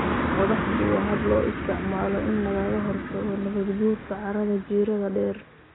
Qodaxdu waa hab loo isticmaalo in lagaga hortago nabaadguurka carrada jiirada dheer.